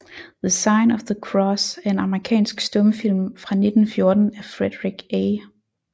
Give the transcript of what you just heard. The Sign of the Cross er en amerikansk stumfilm fra 1914 af Frederick A